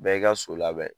Bɛɛ y'i ka so labɛn